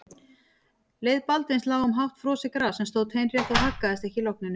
Leið Baldvins lá um hátt frosið gras sem stóð teinrétt og haggaðist ekki í logninu.